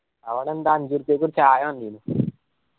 അവിടെ എന്താ അഞ്ചു ഉർപ്യക്ക് ഒരു ചായ തന്നിനു